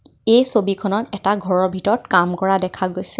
এই ছবিখনত এটা ঘৰৰ ভিতৰত কাম কৰা দেখা গৈছে।